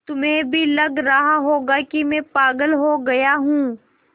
तुम्हें भी लग रहा होगा कि मैं पागल हो गया हूँ